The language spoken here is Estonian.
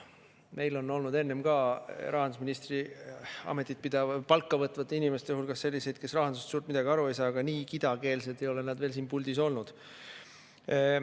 Meil on olnud enne ka rahandusministri palka võtvate inimeste hulgas selliseid, kes rahandusest suurt midagi aru ei saa, aga nii kidakeelsed ei ole nad veel siin puldis olnud.